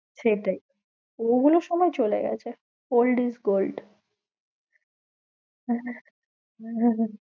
সেটাই ওগুলোর সময় চলে গেছে old is gold.